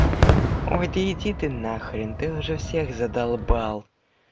ой да иди ты на хрен ты уже всех задолбал